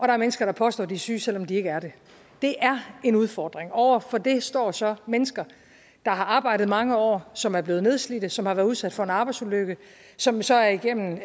er mennesker der påstår de er syge selv om de ikke er det det er en udfordring over for det står så mennesker der har arbejdet mange år som er blevet nedslidt og som har været udsat for en arbejdsulykke som så er igennem